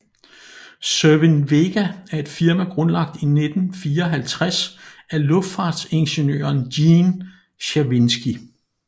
Cerwin Vega er et firma grundlagt i 1954 af luftfartsingeniøren Gene Czerwinski